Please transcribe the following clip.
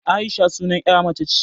Aisha sunar 'ya mace ce